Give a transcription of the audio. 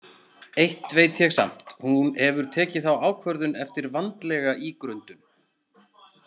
Eitt veit ég samt: hún hefur tekið þá ákvörðun eftir vandlega ígrundun.